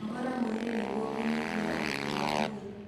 Nogora mwĩrĩ nĩguo kũnyihia ũritũ wa mwĩrĩ